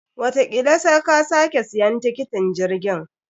Watakila sa ka sake siyan tiketin jirgin.